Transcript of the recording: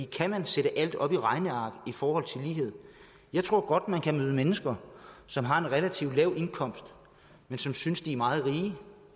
kan man sætte alt op i regneark i forhold til lighed jeg tror godt man kan møde mennesker som har en relativt lav indkomst men som synes de er meget rige